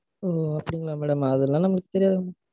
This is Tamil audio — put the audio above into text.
உம் அப்படிங்களா madam? அதுலாம் நமக்கு தெரியாது madam